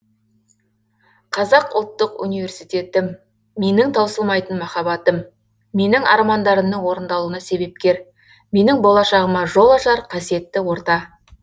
қазақ ұлттық университетім менің таусылмайтын махаббатым менің армандарымның орындалуына себепкер менің болашағыма жол ашар қасиетті орта